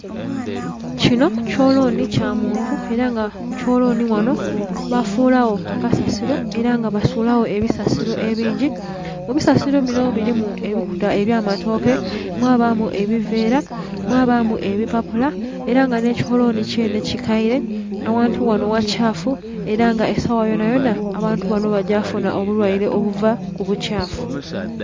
Kinho ekyolonhi kya muntu era nga ku kyo linho ghanho bafulagho akasasilo era nga basulagho ebisasilo ebingi ebisasilo binho mulimu ebikuta ebya matoke, mwabamu ebiveera, mwabamu ebipalula era nga nhe ekyolonhi kyenhe kikaire. Aghantu ghanho ghakyafu era nga esagha yonayona abantu bagya kufunha obulwaire obu a ku bukyafu.